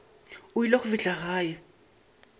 o ile go fihla gae